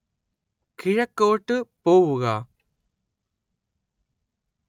കിഴക്കോട്ട് പോവുക